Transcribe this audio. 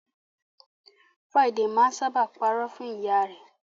Friday máa n sábà pa irọ́ fún ìyá rẹ.